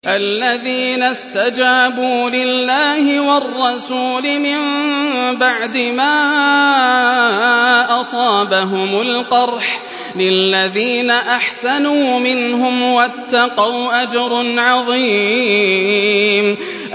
الَّذِينَ اسْتَجَابُوا لِلَّهِ وَالرَّسُولِ مِن بَعْدِ مَا أَصَابَهُمُ الْقَرْحُ ۚ لِلَّذِينَ أَحْسَنُوا مِنْهُمْ وَاتَّقَوْا أَجْرٌ عَظِيمٌ